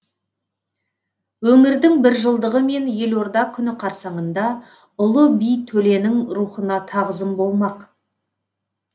өңірдің біржылдығы мен елорда күні қарсаңында ұлы би төленің рухына тағзым болмақ